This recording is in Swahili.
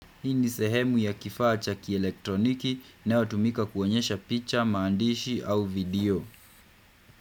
Hii ni sehemu ya kifaa cha kielektroniki inayotumika kuonyesha picha, maandishi au video.